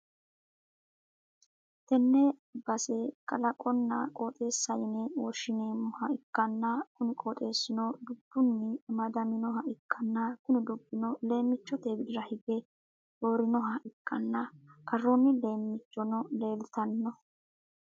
tenne base kalaqonna qooxessa yine woshhsi'neemmoha ikkanna, kuni gooxeessino dubbunni amadaminoha ikkanna, kuni dubbino leemmichote widira hige roorannoha ikkanna, karroonni leemmichono leeltanno.